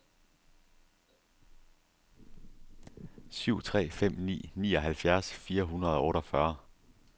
syv tre fem ni nioghalvfjerds fire hundrede og otteogfyrre